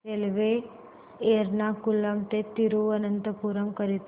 railway Ernakulam ते थिरुवनंतपुरम करीता